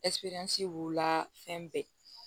b'u la fɛn bɛɛ